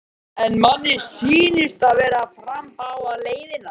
Róbert: En manni sýnist þið vera að fara báðar leiðirnar?